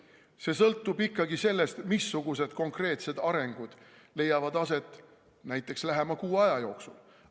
See sõltub ikkagi sellest, missugused konkreetsed arengud leiavad aset näiteks lähema kuu aja jooksul.